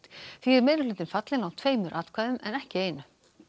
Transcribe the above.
því er meirihlutinn fallinn á tveimur atkvæðum en ekki einu